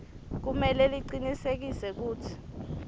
kumele licinisekise kutsi